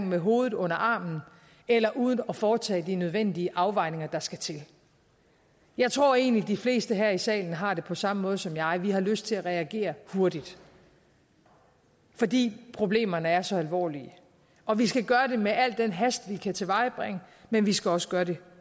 med hovedet under armen eller uden at foretage de nødvendige afvejninger der skal til jeg tror egentlig de fleste her i salen har det på samme måde som jeg nemlig at vi har lyst til at reagere hurtigt fordi problemerne er så alvorlige og vi skal gøre det med al den hast vi kan tilvejebringe men vi skal også gøre det